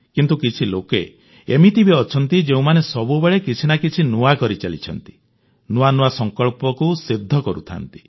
କିନ୍ତୁ କିଛି ଲୋକ ଏମିତି ବି ଅଛନ୍ତି ଯେଉଁମାନେ ସବୁବେଳେ କିଛି ନା କିଛି ନୂଆ କରିଚାଲିଥାନ୍ତି ନୂଆ ନୂଆ ସଂକଳ୍ପକୁ ସିଦ୍ଧ କରୁଥାନ୍ତି